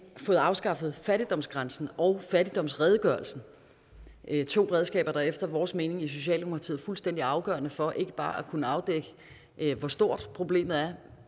fået afskaffet fattigdomsgrænsen og fattigdomsredegørelsen det er to redskaber som efter vores mening i socialdemokratiet er fuldstændig afgørende for ikke bare at kunne afdække hvor stort problemet er